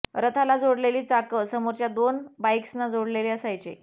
रथाला जोडलेली चाकं समोरच्या दोन बाइक्सना जोडलेले असायचे